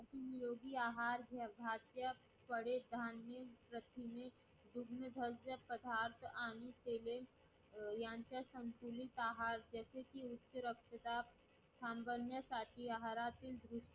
निरोगी आहार प्रथिने कडधान्ये तृणधान्य पदार्थ यांच्या संतुलित आहार जसे कि उच्च रक्तदाब संबंधी निरोगी आहारातील